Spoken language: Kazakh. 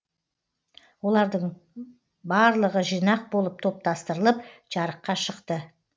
олардың бырлығы жинақ болып топтастырылып жарыққа шықты